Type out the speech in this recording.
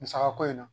Musaka ko in na